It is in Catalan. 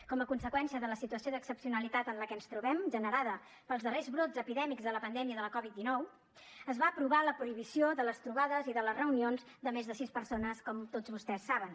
com a conseqüència de la situació d’excepcionalitat en la que ens trobem generada pels darrers brots epidèmics de la pandèmia de la covid dinou es va aprovar la prohibició de les trobades i de les reunions de més de sis persones com tots vostès saben